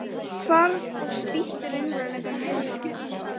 Hvarf og spýtti raunveruleikanum yfir hana.